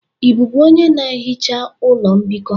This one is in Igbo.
Ị bụbu onye na-ehicha ụlọ mbikọ?